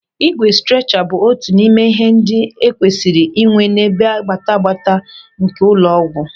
Ígwè strecha bụ otu n'ime ihe ndị e kwesịrị inwe n'ebe gbata gbata nke ụlọ ọgwụ.